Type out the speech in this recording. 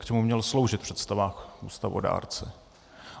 K čemu měl sloužit v představách ústavodárce.